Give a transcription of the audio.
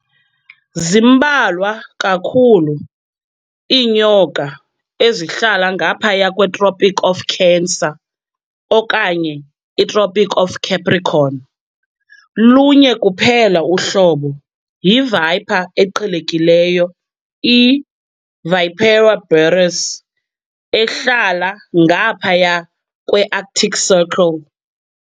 Zimbalwa kakhulu iinyoka ezihlala ngaphaya kweTropic of Cancer okanye iTropic of Capricorn, lunye kuphela uhlobo, yiviper eqhelekileyo i-"Vipera berus" ehlala ngaphaya kweArctic Circle.